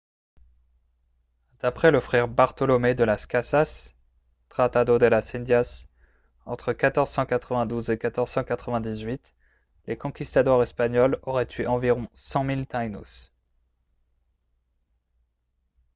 d'après le frère bartolomé de las casas tratado de las indias entre 1492 et 1498 les conquistadors espagnols auraient tué environ 100 000 taínos